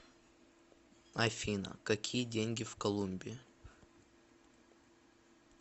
афина какие деньги в колумбии